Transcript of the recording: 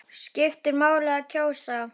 Skiptir máli að kjósa?